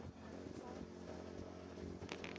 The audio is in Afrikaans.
opsy geskuifde gemeenskappe